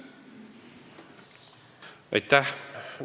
Aitäh!